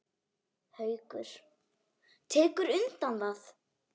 Haukur: Tekurðu undir það?